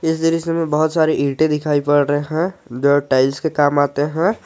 इस दृश्य में बहुत सारे ईंटे दिखाई पड़ रहे हैं जो टाइल्स के काम आते हैं।